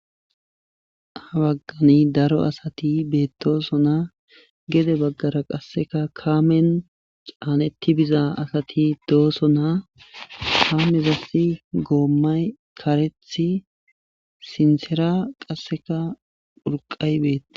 Ha baggani daro asati beettosona gede baggara qasseka kaamen caanetti biza asati dooso na hammezassi goommay karethi sinsera qasseka phurqay beette.